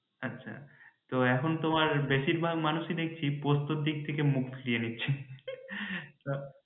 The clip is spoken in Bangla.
আচ্ছা তো এখন তোমার বেশীর ভাগ মানুষই দেখছি পোস্তর দিক থেকে মুখ ফিরিয়ে নিচ্ছে